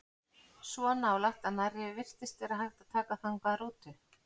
Svo nálægt að nærri virtist vera hægt að taka þangað rútu.